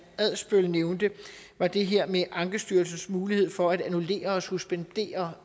adsbøl nævnte var det her med ankestyrelsens mulighed for at annullere og suspendere